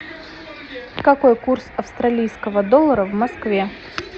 какой курс австралийского доллара в москве